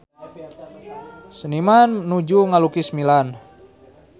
Seniman nuju ngalukis Milan